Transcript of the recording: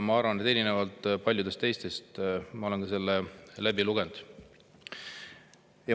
Ma arvan, et erinevalt paljudest teistest ma olen selle läbi lugenud.